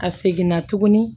A seginna tuguni